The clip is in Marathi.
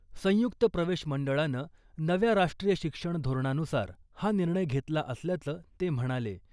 संयुक्त प्रवेश मंडळानं नव्या राष्ट्रीय शिक्षण धोरणानुसार हा निर्णय घेतला असल्याचं ते म्हणाले .